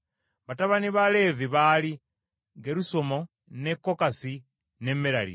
Batabani ba Leevi baali Gerusomu, ne Kokasi ne Merali.